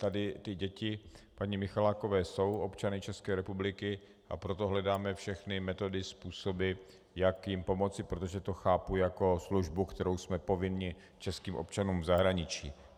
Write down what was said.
Tady ty děti paní Michalákové jsou občany České republiky, a proto hledáme všechny metody, způsoby, jak jim pomoci, protože to chápu jako službu, kterou jsme povinni českým občanům v zahraničí.